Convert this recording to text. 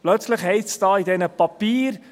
Plötzlich heisst es da in diesen Papieren: